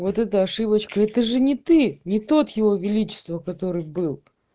вот это ошибочка это же не ты не тот его величество который был